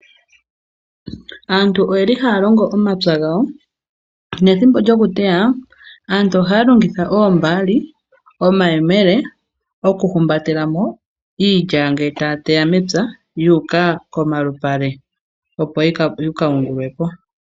Aantu oyeli haya longo omapya gawo. Nethimbo lyoku teya aantu ohaya longitha oombali , omayemele oku humbatela mo iilya ngele taya teya mepya yu uka komalupale opo yika yungulwepo.